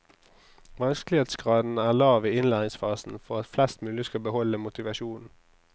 Vanskelighetsgraden er lav i innlæringsfasen for at flest mulig skal beholde motivasjonen.